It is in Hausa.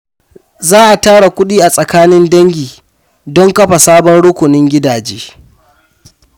Za a tara kudi a tsakanin dangi don kafa sabon rukunin gidaje.